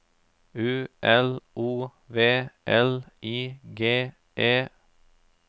U L O V L I G E